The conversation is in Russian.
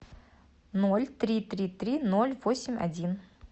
ноль три три три ноль восемь один